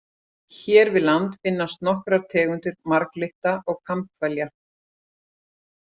Hér við land finnast nokkrar tegundir marglytta og kambhvelja.